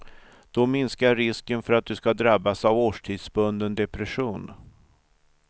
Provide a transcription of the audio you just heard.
Då minskar risken för att du ska drabbas av årstidsbunden depression.